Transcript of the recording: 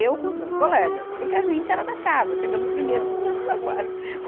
Eu com os meus colegas, porque a gente era da casa, chegamos primeiro, seguramos a faixa.